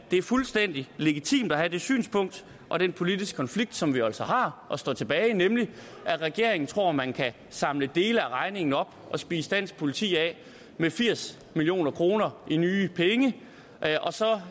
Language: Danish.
det er fuldstændig legitimt at have de synspunkter og den politiske konflikt som vi jo altså har og som står tilbage nemlig at regeringen tror man kan samle dele af regningen op og spise dansk politi af med firs million kroner i nye penge og så